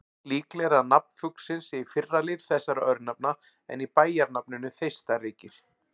Líklegra er að nafn fuglsins sé í fyrri lið þessara örnefna en í bæjarnafninu Þeistareykir.